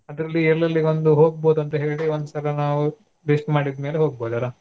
ಅದರಲ್ಲಿ ಎಲ್ಲೆಲ್ಲಿ ಒಂದು ಹೋಗ್ಬೋದ್ ಅಂತ ಹೇಳಿ ಒಂದ್ಸಲ ನಾವು list ಮಾಡಿದ್ ಮೇಲೆ ಹೋಗ್ಬೋದಲ್ಲ.